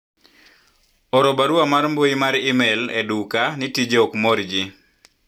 oro barua mar mbui mar email e duka ni tijei ok mor jii